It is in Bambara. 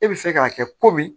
E bɛ fɛ k'a kɛ komi